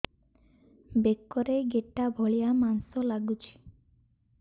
ବେକରେ ଗେଟା ଭଳିଆ ମାଂସ ଲାଗୁଚି